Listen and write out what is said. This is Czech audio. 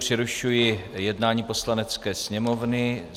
Přerušuji jednání Poslanecké sněmovny.